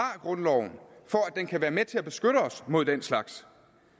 grundloven den skal være med til at beskytte os mod den slags